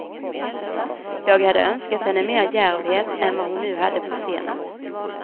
Jag hade önskat henne mer djärvhet än vad hon nu hade på scenen.